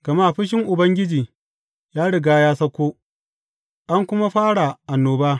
Gama fushin Ubangiji ya riga ya sauko; an kuma fara annoba.